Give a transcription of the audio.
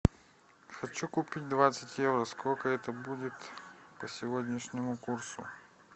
хочу купить двадцать евро сколько это будет по сегодняшнему курсу